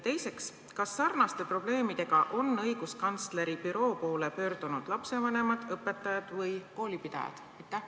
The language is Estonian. Teiseks, kas sarnaste probleemidega on õiguskantsleri büroo poole pöördunud lapsevanemad, õpetajad või koolipidajad?